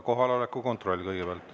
Kohaloleku kontroll kõigepealt.